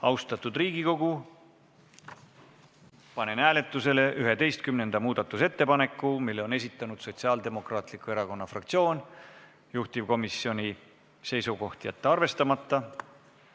Austatud Riigikogu, panen hääletusele 11. muudatusettepaneku, mille on esitanud Sotsiaaldemokraatliku Erakonna fraktsioon, juhtivkomisjoni seisukoht: jätta arvestamata.